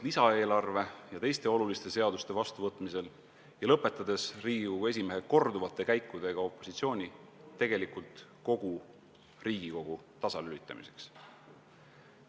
... lisaeelarve ja teiste oluliste seaduste vastuvõtmisel ja lõpetades Riigikogu esimehe korduvate käikudega opositsiooni, tegelikult kogu Riigikogu tasalülitamiseks.